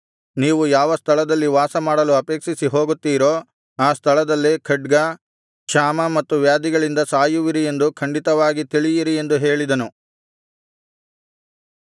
ನೀವು ಯಾವ ಸ್ಥಳದಲ್ಲಿ ವಾಸಮಾಡಲು ಅಪೇಕ್ಷಿಸಿ ಹೋಗುತ್ತೀರೋ ಆ ಸ್ಥಳದಲ್ಲೇ ಖಡ್ಗ ಕ್ಷಾಮ ಮತ್ತು ವ್ಯಾಧಿಗಳಿಂದ ಸಾಯುವಿರಿ ಎಂದು ಖಂಡಿತವಾಗಿ ತಿಳಿಯಿರಿ ಎಂದು ಹೇಳಿದನು